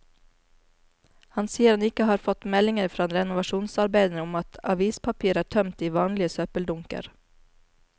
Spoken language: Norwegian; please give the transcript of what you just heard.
Han sier han ikke har fått meldinger fra renovasjonsarbeiderne om at avispapir er tømt i vanlige søppeldunker.